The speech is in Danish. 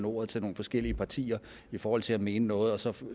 ordet til nogle forskellige partier i forhold til at mene noget og så